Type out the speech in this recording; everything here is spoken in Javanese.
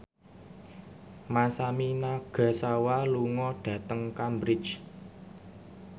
Masami Nagasawa lunga dhateng Cambridge